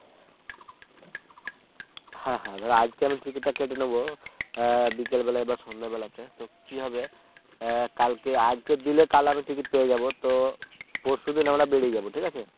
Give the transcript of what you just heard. হ্যাঁ হ্যাঁ ধরো আজকে আমি Ticket টা কেটে নেব বিকেল বেলায় বা সন্ধ্যেবেলাতে তো কি হবে কালকে আজকে দিলে কাল আমি Ticket পেয়ে যাব তো পরশুদিন আমরা বেরিয়ে যাব ঠিক আছে